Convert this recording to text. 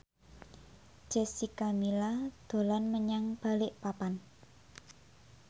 Jessica Milla dolan menyang Balikpapan